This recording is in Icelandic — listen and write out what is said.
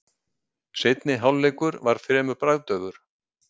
Seinni hálfleikur var fremur bragðdaufur.